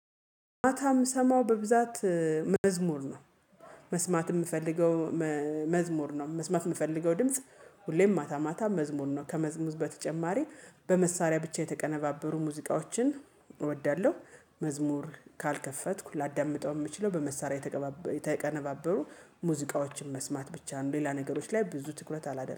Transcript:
ማታ የምሰማው በብዛት መዝሙር ነው። መስማት የምፈልገው መዝሙር ነው። መስማት የምፈልገው ድምጽ ሁሌም ማታ ማታ መዝሙር ነው። ከመዝሙር በተጨማሪ በመሳሪያ ብቻ የተቀነባበሩ ሙዚቃዎችን እወዳለሁ። መዝሙር ካልከፈትኩ ላዳምጠው የምችለው በመሳሪያ የተቀነባበሩ ሙዚቃዎችን መስማት ብቻ ነው። ሌላ ነገሮች ላይ ብዙ ትኩረት አላደረገም